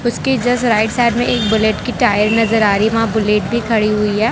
उसके just right side में एक बुलेट की टायर नजर आ रही है वहां बुलेट भी खड़ी हुई है।